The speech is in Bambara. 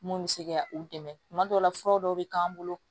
Mun bɛ se ka u dɛmɛ tuma dɔw la fura dɔw bɛ k'an bolo